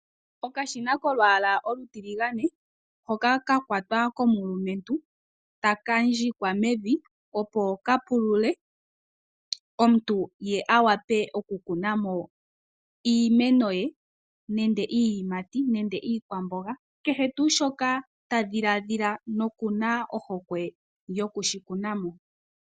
Okashina kolwaala olutiligane hoka ka kwatwa komulumentu ka ndjikwa mevi, opo ka pulule ye omuntu a wape okukuna mo iimeno ye nenge iiyimati nenge iikwamboga, nakehe tuu shoka ta dhiladhila noku na ohokwe yoku shi kuna mo.